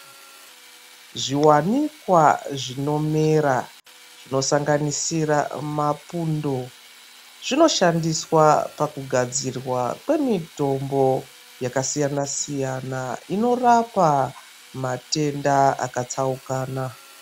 Zviwanikwa zvinomera zvinosanganisira mapundo zvinoshandiswa pakugadzirwa kwemitombo yakasiyana siyana inorapa matenda akatsaukana .